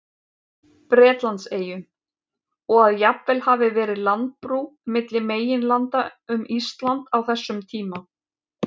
Bretlandseyjum, og að jafnvel hafi verið landbrú milli meginlanda um Ísland á þessum tíma.